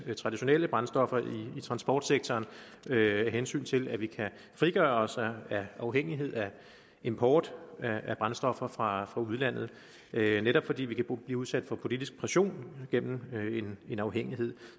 traditionelle brændstoffer i transportsektoren af hensyn til at vi kan frigøre os af afhængighed af import af brændstoffer fra udlandet netop fordi vi kan blive udsat for politisk pression gennem en afhængighed